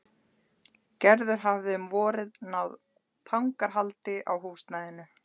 Gerður hafði um vorið náð tangarhaldi á húsnæðinu.